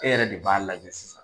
E yɛrɛ de b'a lajɛ sisan